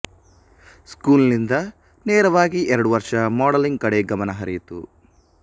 school ನಿಂದ ನೇರವಾಗಿ ಎರಡುವರ್ಷ ಮಾಡೆಲಿಂಗ್ ಕಡೆ ಗಮನ ಹರಿಯಿತು